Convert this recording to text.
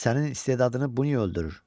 Sənin istedadını bu niyə öldürür?